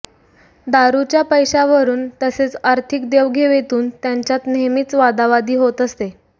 दारूच्या पैशावरून तसेच आर्थिक देवघेवीतून त्यांच्यात नेहमीच वादावादी होत असे